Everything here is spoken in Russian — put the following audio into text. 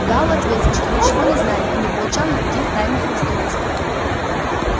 гаал ответил что ничего не знает и не получал никаких тайных инструкций